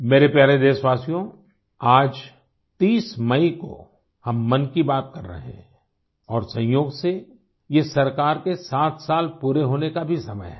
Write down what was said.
मेरे प्यारे देशवासियों आज 30 मई को हम मन की बात कर रहे हैं और संयोग से ये सरकार के 7 साल पूरे होने का भी समय है